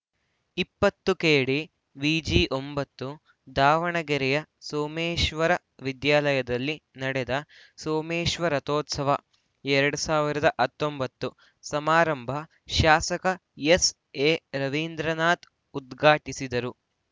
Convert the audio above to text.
ಇಪ್ಪತ್ತು ಕೆಡಿವಿಜಿ ಒಂಬತ್ತು ದಾವಣಗೆರೆಯ ಸೋಮೇಶ್ವರ ವಿದ್ಯಾಲಯದಲ್ಲಿ ನಡೆದ ಸೋಮೇಶ್ವರೋತ್ಸವ ಎರಡ್ ಸಾವಿರದ ಹತ್ತೊಂಬತ್ತು ಸಮಾರಂಭ ಶಾಸಕ ಎಸ್‌ಎರವೀಂದ್ರನಾಥ್‌ ಉದ್ಘಾಟಿಸಿದರು